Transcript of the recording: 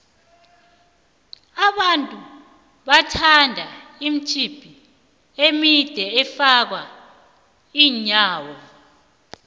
abantu bathanda imitswipi emide efaka iinyawo